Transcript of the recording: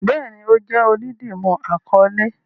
Bẹẹni, o jẹ oludimu akọle